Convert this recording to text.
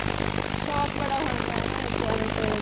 ਸ਼ੋਂਕ ਬੜਾ ਹੁੰਦਾ ਏ ਨਾ ਬੱਚਿਆਂ ਨੂੰ ਤੇ